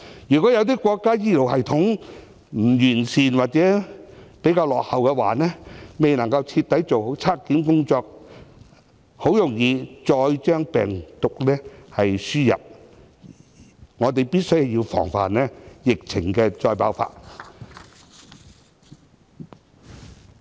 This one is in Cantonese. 如果有些國家醫療系統不完善或比較落後，未能夠徹底做好檢測工作，很容易再將病毒輸入，我們必須防範疫情再度爆發。